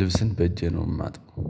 ልብስን በእጄ ነው የማጥበው